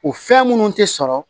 O fɛn minnu tɛ sɔrɔ